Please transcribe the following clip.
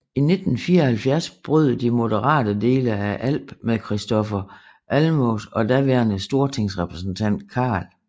I 1974 brød de moderate dele af ALP med Kristofer Almås og daværende stortingsrepræsentant Carl I